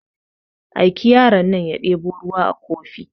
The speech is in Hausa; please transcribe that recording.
Aiki yaron nan ya debo ruwa a kofi